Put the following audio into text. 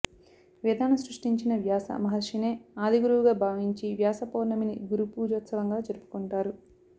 వేదాలను సృష్టించిన వ్యాస మహర్షినే ఆదిగురువుగా భావించి వ్యాస పౌర్ణమిని గురు పూజోత్సవంగా జరుపుకుంటారు